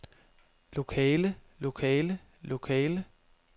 lokale lokale lokale